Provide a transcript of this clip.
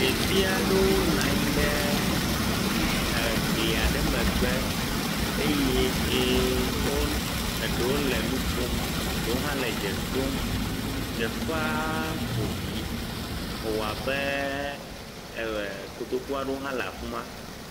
Ɖevi aɖewo nɔ anyi ɖe egli aɖewo megbe, eye ye eɖewo le nu kom, ɖewo hã le dze ɖom, teƒea ƒo ɖi, ewɔ abe kotoku aɖewo hã le afi ma.